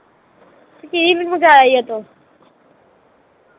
ਤੇ ਕੀ ਮੈਨੂੰ